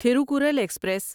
Thirukkural express